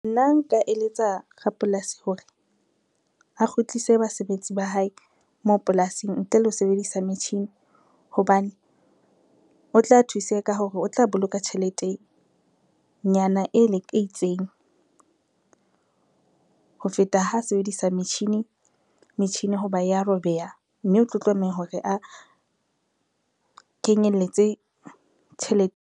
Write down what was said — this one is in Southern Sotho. Nna nka eletsa rapolasi hore, a kgutlise basebetsi ba hae moo polasing ntle le ho sebedisa metjhini hobane, o tla thuseha ka hore o tla boloka tjheletenyana e le e itseng, ho feta ha sebedisa metjhini, metjhini ho ba ya robeha mme o tlo tlameha hore a kenyelletse tjhelete.